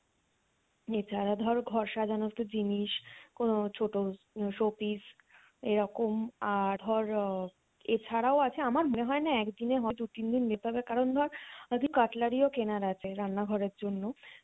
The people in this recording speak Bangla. এছাড়া ধর ঘর সাজানোর তো জিনিস কোনো ছোটো showpiece এরকম আহ ধর এছাড়াও আছে আমার মনে হয়ে না একদিনে হবে দু তিন দিন যেতে হবে কারণ ধর cutlery ও কেনার আছে রান্না ঘরের জন্য